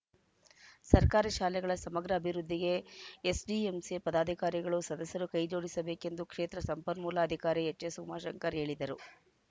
ಸರ್ಕಾರಿ ಶಾಲೆಗಳ ಸಮಗ್ರ ಅಭಿವೃದ್ದಿಗೆ ಎಸ್‌ಡಿಎಂಸಿ ಪದಾಧಿಕಾರಿಗಳು ಸದಸ್ಯರು ಕೈಜೋಡಿಸಬೇಕೆಂದು ಕ್ಷೇತ್ರ ಸಂಪನ್ಮೂಲಾಧಿಕಾರಿ ಎಚ್‌ಎಸ್‌ ಉಮಾಶಂಕರ್‌ ಹೇಳಿದರು